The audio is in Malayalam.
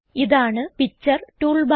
ഇതാണ് പിക്ചർ ടൂൾ ബാർ